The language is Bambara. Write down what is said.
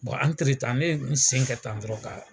ne ye n sen kɛ tan dɔrɔn ka